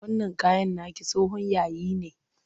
Wannan kayan naki tsohon yayi ne.